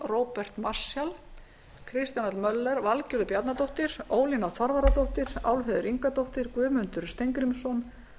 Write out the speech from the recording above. róbert marshall kristján l möller valgerður bjarnadóttir ólína þorvarðardóttir álfheiður ingadóttir guðmundur steingrímsson